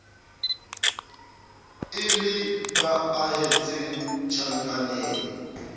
e le ba ahetseng tjhankaneng